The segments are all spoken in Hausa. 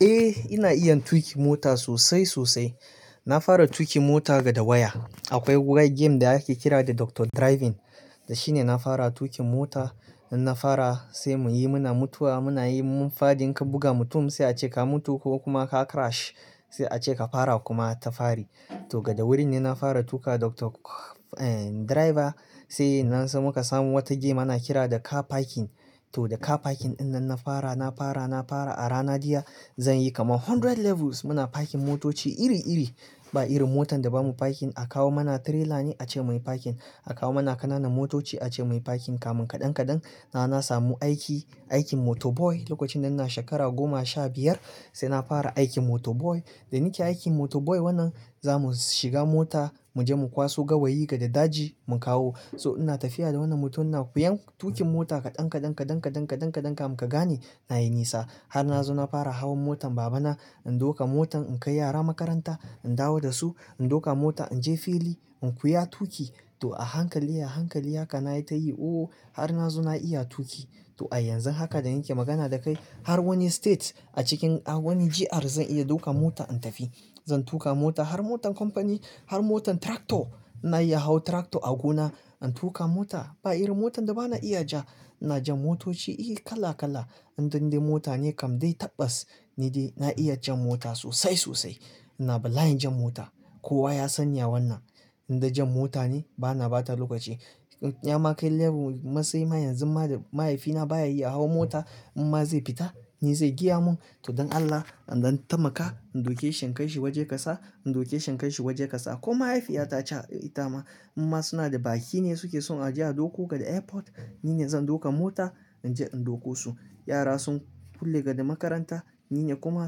Eh ina iya tuƙin mota sosai sosai. Na fara tuƙin mota daga waya. Akwai game da ake kira da Doctor driving da shine na fara tuƙin mota. In na fara sai muyi muna mutuwa muna yi in mun fadin in ka buga mutum sai a ce ka mutu ko kuma ka crash sai a ce ka fara kuma ta fari. To daga wurin ne na fara tuƙa Doctor driver sai nan sai muka samu wata game ana kira da Car parking. To da Car parking ɗinnan na fara, na fara, na fara a rana daya zan yi kamar hundred levels muna parking motoci iri-iri. Ba irin motar da bamu parking a kawo mana trailer ne a ce muyi parking. A kawo mana kananan motoci a ce muyi parking kamin kaɗan kaɗan na samu aiki, aikin motor boy. Lokacin da ina shekara goma sha biyar sai na fara aikin motor boy. Da nike aikin motor boy wannan zamu shiga mota muje mu kwaso gawayi daga daji mu kawo. So ina tafiya da wannan mutum ina koyan tuƙin mota kaɗan kaɗan, kaɗan kaɗan, kaɗan kaɗan kamun ka gane nayi nisa. Har na zo na fara hawan motan babana in dauka motan in kai yara makaranta in dawo da su. In dauka mota inje fili in koya tuƙi. To a hankali a hankali haka nayi ta yi ooo har na zo na iya tuƙi. To a yanzu haka da nike magana da kai har wani state a cikin a wani GR zan iya ɗaukan mota in tafi. Zan tuƙa mota har motan company har motan tractor. Na iya hawan tractor a gona in tuƙa mota. Ba irin motan da bana iya ja. Ina jan motoci iya kala kala. In dan dai mota ne kam dai tabbas ni dai na iya jan mota sosai sosai. Ina bala'in jan mota. Kowa ya san ya wannan. Indai jan mota ne bana bata lokaci. Ya makai level matsayi ma yanzu ma da mahaifina baya iya hawan mota in ma zai fita ni zai gaya mun to don Allah in dan taimaka in dauke shi in kai shi waje kaza in dauke shi in kai shi waje kaza. Ko mahaifiyata ta ce itama in ma suna da baki ne suke so a je a ɗauko daga airport nine zan ɗauka mota inje in ɗauko su. Yara sun kulle daga makaranta nine kuma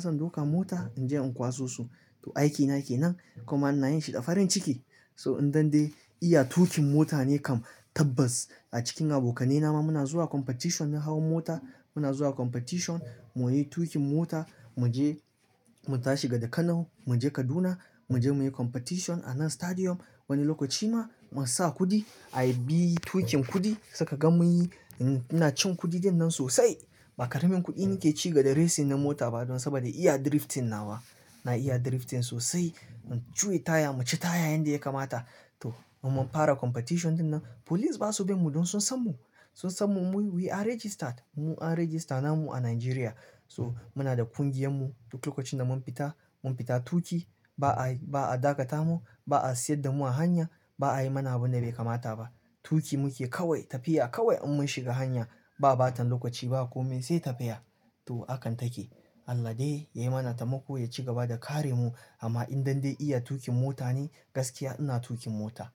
zan ɗauka mota inje in kwaso su. To aikina kenan kuma ina yin shi da farin ciki. So in dande iya tuƙin mota ne kam tabbas. A cikin abokanaina ma muna zuwa competition na hawan mota. Muna zuwa competition muyi tuƙin mota. Mu je mu tashi daga Kano mu je Kaduna mu je muyi competition a nan stadium. Wani lokaci ma mun sa kuɗi ayi bi tuƙin kuɗi sai kaga muyi ina cin kuɗi dinnan sosai. Ba karamin kuɗi nike ci daga racing na mota ba don saboda iya drifting nawa. Na iya drifting sosai. Mun cuye taya mu ci taya yanda ya kamata. To mu mun fara competition dinnan police ba su bi mu don sun san mu. Sun san mu muyi we are registered. Mu an register na mu a Nigeria. So muna da ƙungiyarmu duk lokacin da mun fita mun fita tuƙi ba a, ba a dakata mu ba a tsayar da mu a hanya ba a yi mana abinda bai kamata ba. Tuƙi muke kawai tafiya kawai in mun shiga hanya ba bata lokaci ba komai sai tafiya. To hakan take. Allah dai ya mana taimako ya ci gaba da kare mu amma in dande iya tuƙin mota ne gaskiya ina tuƙin mota.